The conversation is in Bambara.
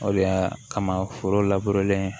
O de y'a kama foro len